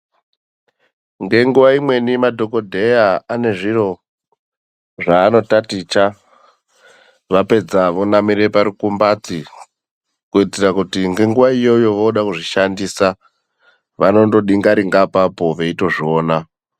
Ngenguva imweni madhokodheya ane zviro zvaanotaticha, vapedza vonamira parukumbati. Kuitira kuti ngenguva iyoyo voode kuzvishandisa vanongodingaringa apapo veitozviona.